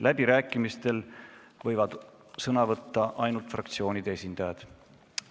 Läbirääkimistel võivad sõna võtta ainult fraktsioonide esindajad.